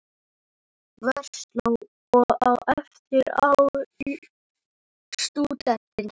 Versló og á eftir ár í stúdentinn.